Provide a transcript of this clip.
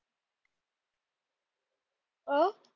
अं